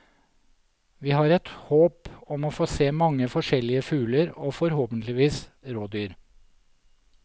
Vi har et håp om å få se mange forskjellige fugler og forhåpentligvis rådyr.